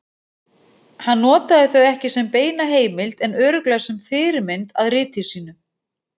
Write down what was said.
Hann notaði þau ekki sem beina heimild en örugglega sem fyrirmynd að riti sínu.